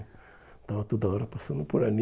Estava toda hora passando por ali.